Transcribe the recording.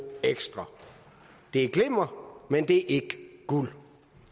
ekstra det er glimmer men det er ikke guld